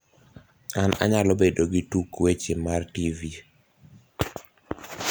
an anyalo bedo gi tuk weche mar tvf